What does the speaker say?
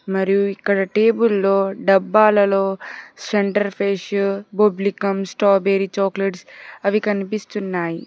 మరియు ఇక్కడ టేబుల్ లో డబ్బాలలో సెంటర్ ఫ్రెష్ స్ట్రాబెరీ చాక్లెట్స్ అవి కనిపిస్తున్నాయి.